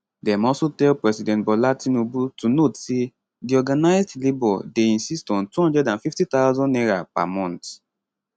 dem also tell president bola tinubu to note say di organised labour dey insist on 250000 naira per month